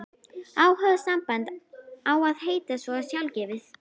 Augnsamband á að heita svo sjálfgefið.